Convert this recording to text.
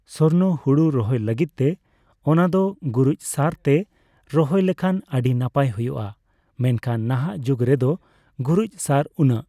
ᱥᱚᱨᱱᱚ ᱦᱩᱲᱩ ᱨᱚᱦᱚᱭᱫᱚ ᱞᱟᱜᱤᱫᱛᱮ ᱚᱱᱟᱫᱚ ᱜᱩᱨᱤᱪ ᱥᱟᱨ ᱛᱮ ᱨᱚᱦᱚᱭ ᱞᱮᱷᱟᱱ ᱟᱹᱰᱤ ᱱᱟᱯᱟᱭ ᱦᱩᱭᱩᱜ ᱟ ᱢᱮᱱᱠᱷᱟᱱ ᱱᱟᱦᱟᱜ ᱡᱩᱜ ᱨᱮᱫᱚ ᱜᱩᱨᱤᱪ ᱥᱟᱨ ᱩᱱᱟᱹᱜ